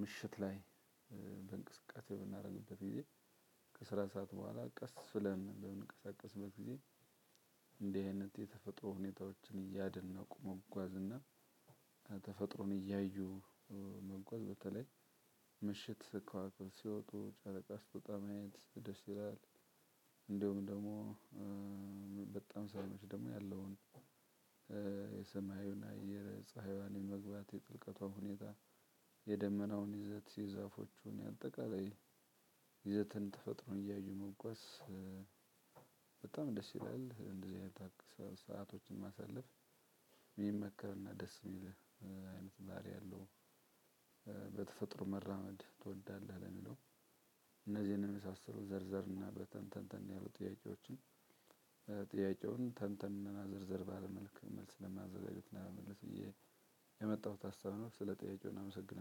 ምሽት ላይ በእንቅስቃሴ ምናደርግበት ጊዜ ከስራ ሰዓት በኋላ ቀስ ብለን በምንቀሳቀስበት ጊዜ። እንዲህ አይነት የተፈጥሮ ሁኔታዎችን እያደነቁ መጓዝ እና ከ ተፈጥሮን እያዩ መጓዝ በተለይ ምሽት ከዋክብ ሲወጡ ጨረቃ ስትወጣ ማየት ደስ ይላል። እንደውም ደሞ በጣም ሳይመሽ ደሞ ያለውን የሰማዩን አየር ፀሀይዋን መግባት የጥልቀቷን ሁኔታ የደመናውን ይዘት የዛፎቹን ያጠቃላይ ይዘትን ተፈጥሮን እያዩ መጓዝ። በጣም ደስ ይላል። እንደዚህ አይነት ሰአቶችን ማሳለፍ ሚመከር ደስ የሚል አይነት ባህሪ ያለው። በተፈጥሮ መራመድ ትወዳለህ ለሚለው። እነዚህን የመሳሰሉ ዘርዘር እና በተንተንተን ያሉ ጥያቄዎችን። ጥያቄውን ተንተን እና ዘርዘር ባለ መልክ መልስ ለማዘጋጀት እና ለመመለስ የመጣሁት ሀሳብ ነው። ስለ ጥያቄው እናመሰግናለን